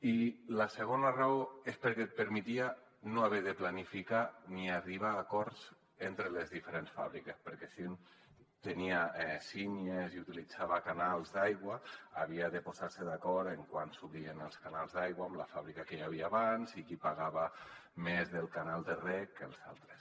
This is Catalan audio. i la segona raó és perquè et permetia no haver de planificar ni arribar a acords entre les diferents fàbriques perquè si un tenia sí·nies i utilitzava canals d’aigua havia de posar·se d’acord amb quan s’obrien els ca·nals d’aigua amb la fàbrica que hi havia abans i qui pagava més del canal de reg que els altres